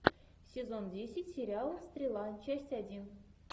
сезон десять сериал стрела часть один